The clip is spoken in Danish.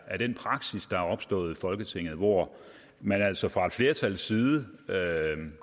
er den praksis der er opstået i folketinget hvor man altså fra et flertals side